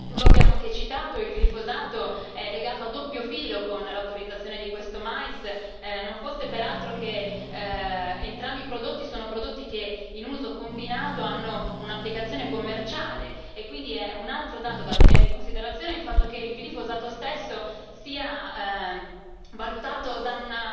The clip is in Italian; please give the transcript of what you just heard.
Lo abbiamo anche citato e il glifosato è legato a doppio filo con l'autorizzazione di questo mais, non fosse peraltro che entrambi i prodotti sono prodotti che, in uso combinato, hanno un'applicazione commerciale e quindi è un altro dato da tenere in considerazione il fatto che il glifosato stesso sia valutato